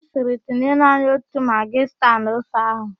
Ọ sịrị, "tinye naanị otu magị sta n'ofe ahụ"!